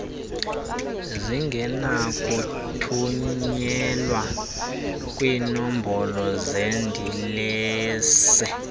zingenakuthunyelwa kwiinombolo zeedilesi